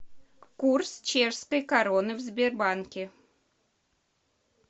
курс чешской короны в сбербанке